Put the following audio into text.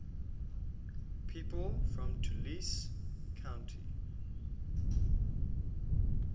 people from tulcea county